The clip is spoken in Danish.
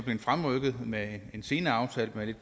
fremrykket med en senere aftale med